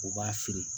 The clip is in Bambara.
U b'a fili